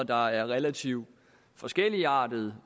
der er relativt forskelligartede